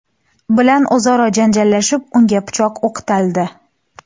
bilan o‘zaro janjallashib, unga pichoq o‘qtaldi.